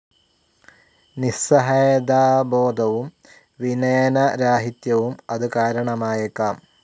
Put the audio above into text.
നിസ്സഹായതാബോധവും വിനയനരാഹിത്യവും അതു കാരണമായേക്കാം.